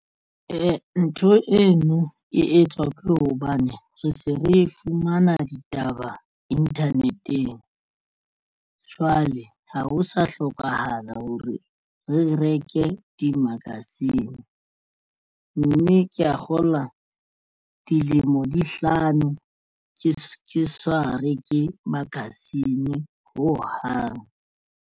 Ntho eno e etswa ke hobane re se re fumana ditaba internet-eng jwale ha ho sa hlokahala hore re reke di-magazine mme ke ya kgolwa dilemo di hlano ke sa reke magazine hohang.